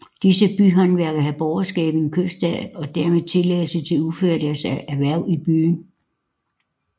Disse byhåndværkere havde borgerskab i en købstad og dermed tilladelse til at udføre deres erhverv i byen